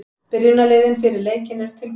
Byrjunarliðin fyrir leikinn eru tilbúin.